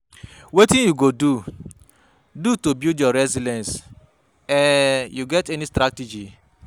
wetin you go do do to build your resilience, um you get any strategies?